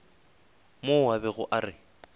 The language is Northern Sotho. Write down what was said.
mo a bego a re